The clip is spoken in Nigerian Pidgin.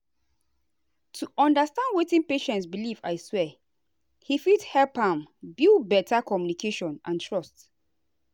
to understand wetin patient believe i swear he fit help am build better communication and trust.